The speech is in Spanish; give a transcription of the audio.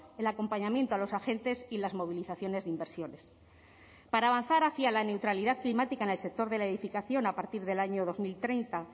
el acompañamiento a los agentes y las movilizaciones de inversiones para avanzar hacia la neutralidad climática en el sector de la edificación a partir del año dos mil treinta